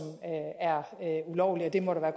er ulovlige og det må der